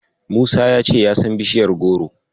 Musa ya ce ya san bishaiyar goro.